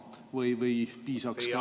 Teie aeg, hea küsija!